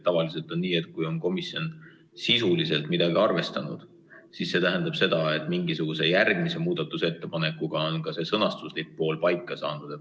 Tavaliselt on nii, et kui komisjon on sisuliselt midagi arvestanud, siis see tähendab seda, et mingisuguse järgmise muudatusettepanekuga on see sõnastuslik pool paika saanud.